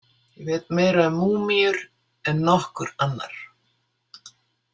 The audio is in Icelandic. Ég veit meira um múmíur en nokkur annar.